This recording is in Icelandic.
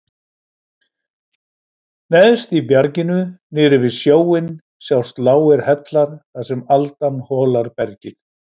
Neðst í bjarginu niðri við sjóinn sjást lágir hellar þar sem aldan holar bergið.